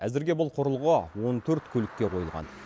әзірге бұл құрылғы он төрт көлікке қойылған